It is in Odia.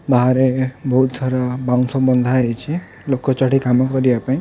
ବାହାରେ ବହୁତ୍ ଥର ବାଉଁଶ ବନ୍ଧାହୋଇଚି ଲୋକ ଚଢ଼ିକି କାମ କରିବା ପାଇଁ।